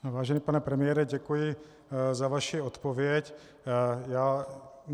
Vážený pane premiére, děkuji za vaši odpověď.